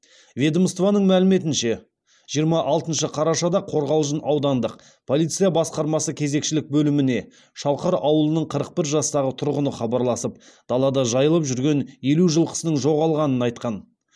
ведомствоның мәліметінше жиырма алтыншы қарашада қорғалжын аудандық полиция басқармасы кезекшілік бөліміне шалқар ауылының қырық бір жастағы тұрғыны хабарласып далада жайылып жүрген елу жылқысының жоғалғанын айтқан